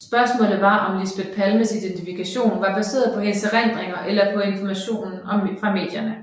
Spørgsmålet var om Lisbeth Palmes identikation var baseret på hendes erindringer eller på informationen fra medierne